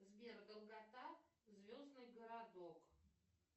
сбер долгота звездный городок